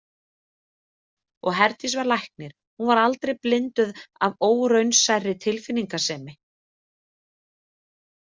Og Herdís var læknir, hún var aldrei blinduð af óraunsærri tilfinningasemi.